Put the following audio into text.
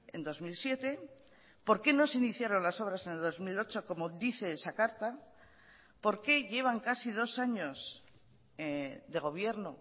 en dos mil siete por qué no se iniciaron las obras en el dos mil ocho como dice esa carta por qué llevan casi dos años de gobierno